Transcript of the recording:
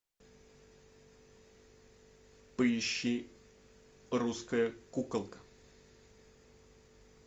поищи русская куколка